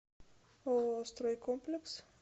ооо стройкомплекс